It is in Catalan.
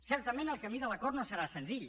certament el camí de l’acord no serà senzill